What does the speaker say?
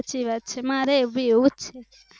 સાચી વાત છે મારે બી આવુજ છે